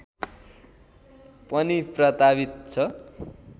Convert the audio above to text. पनि प्रतावित छ